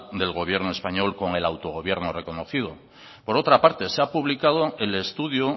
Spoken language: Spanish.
del gobierno español con el autogobierno reconocido por otra parte se ha publicado el estudio